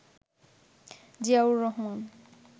Ziaur Rahman